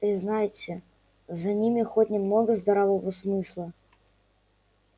признайте за ними хоть немного здравого смысла